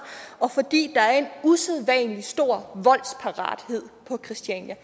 og fordi der er en usædvanlig stor voldsparathed på christiania